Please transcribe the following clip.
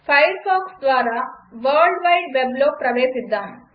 Firefox ద్వారా world wide వెబ్లో ప్రవేశిద్దాం